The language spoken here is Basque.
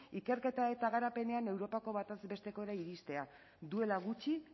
ikerketa eta garapenean europako batez bestekora iristea duela gutxi